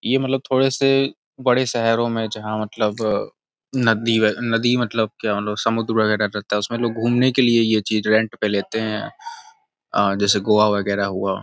यह मतलब थोड़े से बड़े शहरो में जहाँ मतलब नदी व् नदी मतलब क्या बोलो समुन्दर वगैरह रहता उसमें लोग घुमने के लिए यह चीज रेंट पे लेते हैं। अ जैसे गोवा वगैरह हुआ।